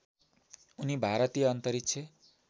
उनी भारतीय अन्तरिक्ष